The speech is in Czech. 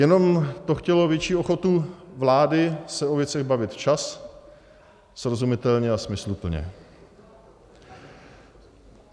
Jenom to chtělo větší ochotu vlády se o věcech bavit včas, srozumitelně a smysluplně.